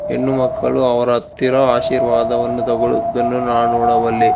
ಹೆಣ್ಣು ಮಕ್ಕಳು ಅವರ ಹತ್ತಿರ ಆಶೀರ್ವಾದವನ್ನು ತಗೊಳುದನ್ನು ನಾನು ನೋಡಬಲ್ಲೆ.